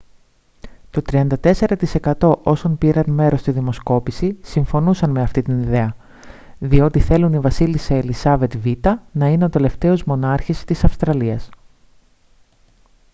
το 34% όσων πήραν μέρος στη δημοσκόπηση συμφωνούσαν με αυτή την ιδέα διότι θέλουν η βασίλισσα ελισάβετ β΄να είναι ο τελευταίος μονάρχης της αυστραλίας